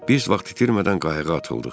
Biz vaxt itirmədən qayığa atıldıq.